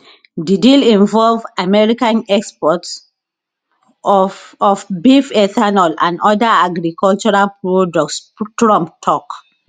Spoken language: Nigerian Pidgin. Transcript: di deal involve american exports of of beef ethanol and oda agricultural products trump tok